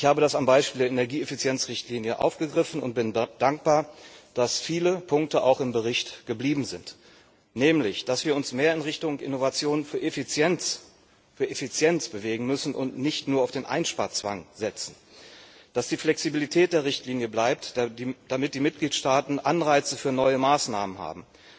Ich habe das am Beispiel der Energieeffizienzrichtlinie aufgegriffen und bin dankbar, dass viele Punkte auch im Bericht geblieben sind, nämlich, dass wir uns mehr in Richtung Innovation für Effizienz bewegen müssen und nicht nur auf den Einsparzwang setzen, dass die Flexibilität der Richtlinie bleibt, damit die Mitgliedstaaten Anreize für neue Maßnahmen haben.